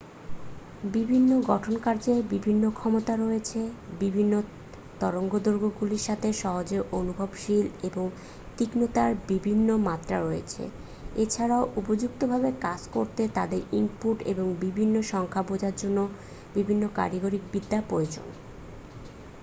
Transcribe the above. বিভিন্ন গঠনকার্যের বিভিন্ন ক্ষমতা রয়েছে বিভিন্ন তরঙ্গদৈর্ঘ্যগুলির সাথে সহজে অনুভবনশীল এবং তীক্ষ্ণতার বিভিন্ন মাত্রা রয়েছে এছাড়াও উপযুক্তভাবে কাজ করতে তাদের ইনপুট এবং বিভিন্ন সংখ্যা বোঝার জন্য বিভিন্ন কারিগরিবিদ্যা প্রয়োজন